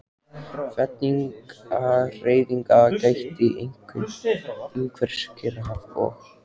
Fellingahreyfinga gætti einkum umhverfis Kyrrahaf og